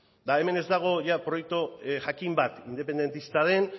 eta hemen ez dago ia proiektu jakin bat independentista den